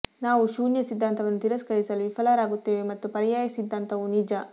ನಾವು ಶೂನ್ಯ ಸಿದ್ಧಾಂತವನ್ನು ತಿರಸ್ಕರಿಸಲು ವಿಫಲರಾಗುತ್ತೇವೆ ಮತ್ತು ಪರ್ಯಾಯ ಸಿದ್ಧಾಂತವು ನಿಜ